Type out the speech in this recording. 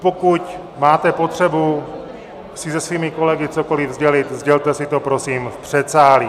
Pokud máte potřebu si se svými kolegy cokoliv sdělit, sdělte si to prosím v předsálí.